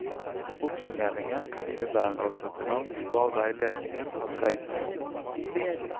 Oppsummeringen kan innebære å sette navn på hva veiledningen har dreid seg om.